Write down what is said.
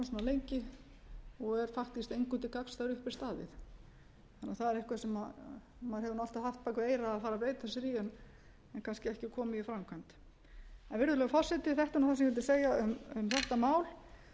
lengi og er faktískt engum til gagns þegar upp er staðið þannig að það er eitthvað sem maður hefur alltaf haft bak við eyrað að fara að beita sér í en kannski ekki komið í framkvæmd virðulegur forseti þetta er nú það sem ég vildi segja um þetta mál